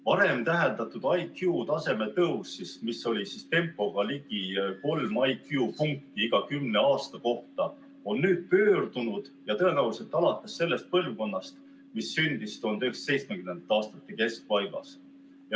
Varem täheldatud IQ taseme tõus, ligi 3 IQ punkti iga kümne aasta kohta, on nüüd pöördunud ja tõenäoliselt alates sellest põlvkonnast, mis sündis 1970. aastate keskpaigas.